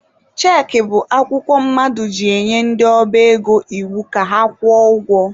Cheekị bụ akwụkwọ mmadụ ji enye ndị ọba ego iwu ka akwụọ ụgwọ